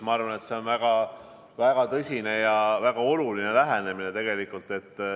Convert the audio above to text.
Ma arvan, et see on väga tõsine ja väga oluline lähenemine tegelikult.